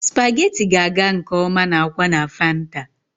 Spaghetti ga-aga nke ọma na akwa na fanta.